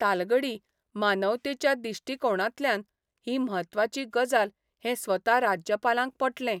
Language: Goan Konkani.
तालगडी मानवतेच्या दिश्टिकोणांतल्यान ही म्हत्वाची गजाल हें स्वता राज्यपालांक पटलें.